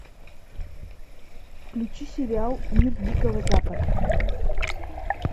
включи сериал мир дикого запада